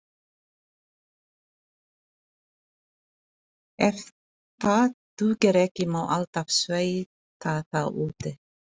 Ef það dugir ekki má alltaf svelta þá úti.